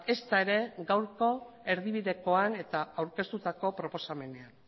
ezta ere gaurko erdibidekoan eta aurkeztutako proposamenean